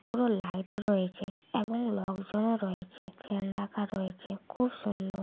পুরো লাইট রয়েছে এবং লোকজনও রয়েছে ফ্যান রাখা রয়েছে খুব সুন্দর।